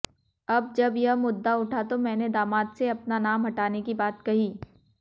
अब जब यह मुद्दा उठा तो मैंने दामाद से अपना नाम हटाने की बात कही